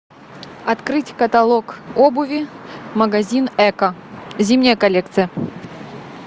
открыть каталог обуви магазин экко зимняя коллекция